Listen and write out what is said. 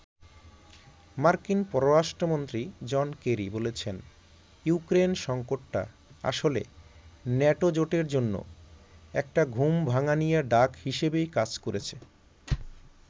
মার্কিন পররাষ্ট্রমন্ত্রী John Kerry বলেছেন, ইউক্রেন সংকটটা আসলে ন্যাটো জোটের জন্য একটা ‘ঘুম-ভাঙানিয়া’ ডাক হিসেবেই কাজ করেছে।